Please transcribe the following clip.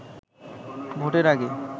ভোটের আগে